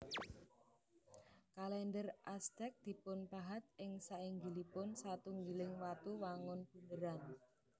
Kalèndher Aztec dipunpahat ing sainggilipun satunggiling watu wangun bunderan